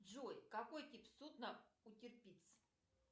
джой какой тип судна у